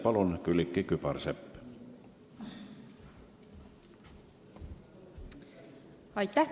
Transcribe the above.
Palun, Külliki Kübarsepp!